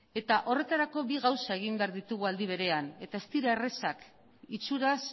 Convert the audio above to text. eta horretarako bi gauza egin behar ditugu aldi berean eta ez dira errazak itxuraz